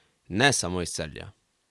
Ne samo iz Celja ...